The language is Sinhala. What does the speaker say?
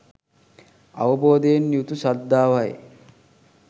අවබෝධයෙන් යුතු ශ්‍රද්ධාවයි.